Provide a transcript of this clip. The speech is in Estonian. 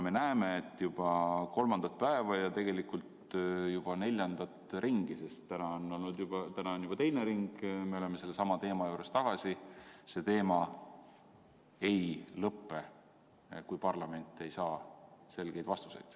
Me näeme, et juba kolmandat päeva ja tegelikult juba neljandat ringi – sest täna on juba teine ring, me oleme sellesama teema juures tagasi – see teema ei lõpe, kui parlament ei saa selgeid vastuseid.